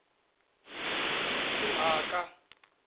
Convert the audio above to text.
timhaka